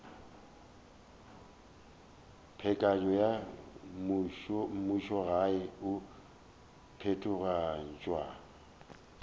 peakanyo ya mmušogae e phethagatšwa